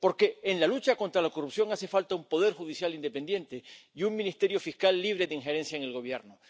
Porque, en la lucha contra la corrupción, hace falta un poder judicial independiente y un ministerio fiscal libre de injerencia en el Gobierno.